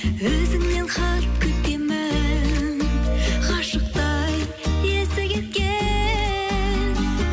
өзіңнен хат күтемін ғашықтай есі кеткен